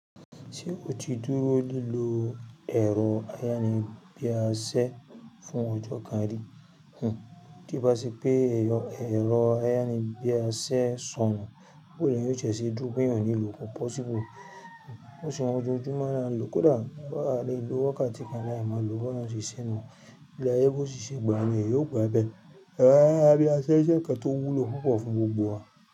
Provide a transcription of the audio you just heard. Ṣé o ti dúró lílo ẹ̀rọ ayárabíàṣẹ fún ọjọ́ kan rí? Ti bá ṣe pé ẹ̀rọ ayánibíàṣa sọnù, bó ni èèyàn yóò ti ṣé dú pé èèyàn nílò kọ̀ possible. Bo ṣe ohun ojojumọ la n lọ kódà á le lò wákàtí kan láì máa lo ó bi ọlọrun se sé nú. Bí áyé bó ti ṣe gbà á niyen, yóò gba bẹ́ẹ̀. Ẹ̀rọ ayánibíàṣẹ jẹ́ ǹkan tó wúlò púpọ̀ fún gbogbo wa.